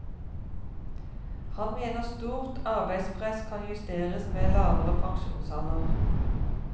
Han mener stort arbeidspress kan justeres med lavere pensjonsalder.